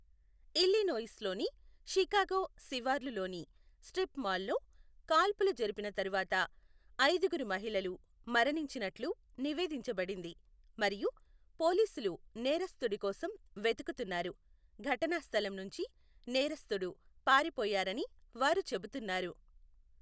Illinois లోని Chicago శివార్లు లోని స్ట్రిప్ మాల్లో కాల్పులు జరిపిన తర్వాత ఐదుగురు మహిళలు మరణించినట్లు నివేదించబడింది మరియు పోలీసులు నేరస్థుడి కోసం వెతుకుతున్నారు, ఘటనా స్థలం నుంచి నేరస్థుడు పారిపోయారని వారు చెబుతున్నారు.